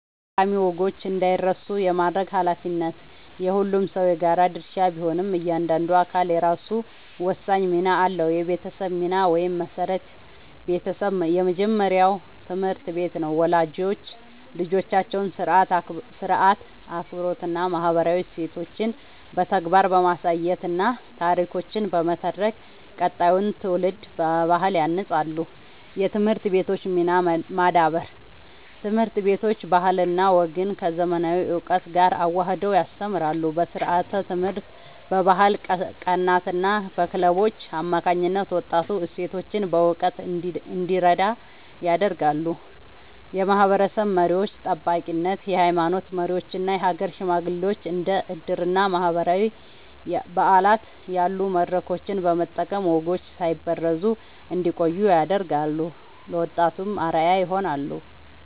ጠቃሚ ወጎች እንዳይረሱ የማድረግ ኃላፊነት የሁሉም ሰው የጋራ ድርሻ ቢሆንም፣ እያንዳንዱ አካል የራሱ ወሳኝ ሚና አለው፦ የቤተሰብ ሚና (መሠረት)፦ ቤተሰብ የመጀመሪያው ትምህርት ቤት ነው። ወላጆች ልጆቻቸውን ሥርዓት፣ አክብሮትና ማህበራዊ እሴቶችን በተግባር በማሳየትና ታሪኮችን በመተረክ ቀጣዩን ትውልድ በባህል ያንጻሉ። የትምህርት ቤቶች ሚና (ማዳበር)፦ ትምህርት ቤቶች ባህልና ወግን ከዘመናዊ እውቀት ጋር አዋህደው ያስተምራሉ። በስርዓተ-ትምህርት፣ በባህል ቀናትና በክለቦች አማካኝነት ወጣቱ እሴቶቹን በእውቀት እንዲረዳ ያደርጋሉ። የማህበረሰብ መሪዎች (ጠባቂነት)፦ የሃይማኖት መሪዎችና የሀገር ሽማግሌዎች እንደ ዕድርና ማህበራዊ በዓላት ያሉ መድረኮችን በመጠቀም ወጎች ሳይበረዙ እንዲቆዩ ያደርጋሉ፤ ለወጣቱም አርአያ ይሆናሉ።